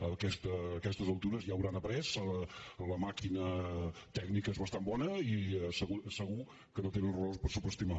a aquestes altures ja en deuen haver après la màquina tècnica és bastant bona i segur que no tenen raó per subestimar